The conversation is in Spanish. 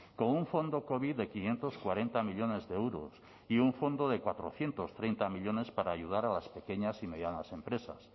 con un fondo covid de quinientos cuarenta millónes de euros y un fondo de cuatrocientos treinta millónes para ayudar a las pequeñas y medianas empresas